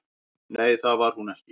"""Nei, það var hún ekki."""